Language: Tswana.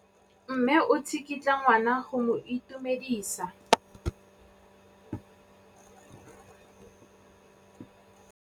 Mme o tsikitla ngwana go mo itumedisa.